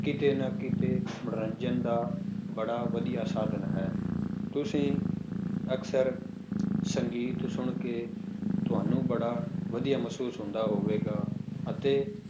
ਕਿਤੇ ਨਾ ਕਿਤੇ ਮਨੋਰੰਜਨ ਦਾ ਬੜਾ ਵਧੀਆ ਸਾਧਨ ਹੈ, ਤੁਸੀਂ ਅਕਸਰ ਸੰਗੀਤ ਸੁਣਕੇ ਤੁਹਾਨੂੰ ਬੜਾ ਵਧੀਆ ਮਹਿਸੂਸ ਹੁੰਦਾ ਹੋਵੇਗਾ, ਅਤੇ